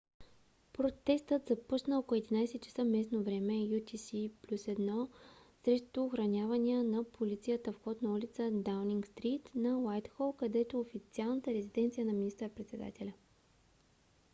протестът започна около 11:00 часа местно време utc+1 срещу охранявания от полицията вход на улица даунинг стрийт на уайтхол където е официалната резиденция на министър-председателя